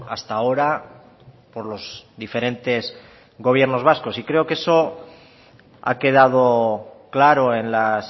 hasta ahora por los diferentes gobiernos vascos y creo que eso ha quedado claro en las